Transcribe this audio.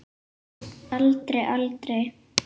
Aldrei, aldrei.